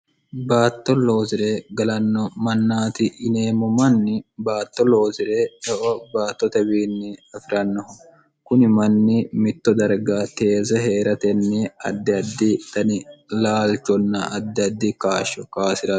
baatto loozire galanno mannaati ineemmo manni baatto loozi're eo baatto tawiinni afi'rannoho kuni manni mitto darga teeze hee'ratenni addi addi dani laalchonna addi addi kaashsho kaasirarno